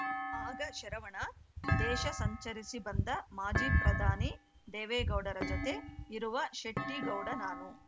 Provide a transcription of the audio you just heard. ಆಗ ಶರವಣ ದೇಶ ಸಂಚರಿಸಿ ಬಂದ ಮಾಜಿ ಪ್ರಧಾನಿ ದೇವೇಗೌಡರ ಜೊತೆ ಇರುವ ಶೆಟ್ಟಿಗೌಡ ನಾನು